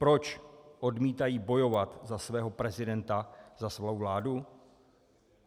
Proč odmítají bojovat za svého prezidenta, za svou vládu?